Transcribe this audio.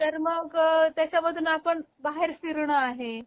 तर मग त्याच्या मध्ये आपण बाहेर फिरण आहे